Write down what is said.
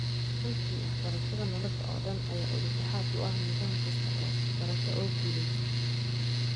Runtii, waxbarashada nolosha oo dhan ayaa udub dhexaad u ah nidaam kasta oo waxbarasho oo guuleysta.